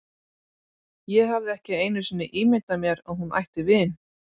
Ég hafði ekki einu sinni ímyndað mér að hún ætti vin.